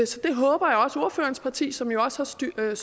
så det håber jeg også ordførerens parti som jo også har støttet